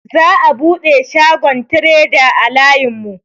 Za'a buɗe shagon treda a layin mu.